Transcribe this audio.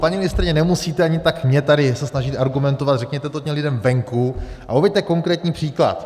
Paní ministryně, nemusíte ani tak mně tady se snažit argumentovat, řekněte to těm lidem venku a uveďte konkrétní příklad.